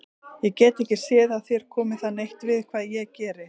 Ég get ekki séð að þér komi það neitt við hvað ég geri.